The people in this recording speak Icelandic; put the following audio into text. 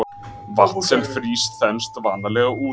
vatn sem frýs þenst vanalega út